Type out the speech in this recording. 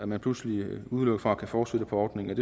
man pludselig udelukket fra at kunne fortsætte på ordningen